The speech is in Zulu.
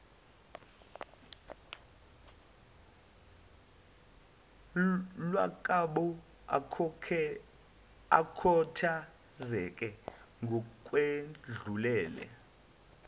lwakwabo akhathazeke ngokwedlulele